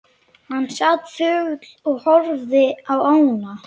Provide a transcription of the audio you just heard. Hann sat þögull og horfði á ána.